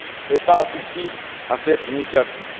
et participent à cette initiative.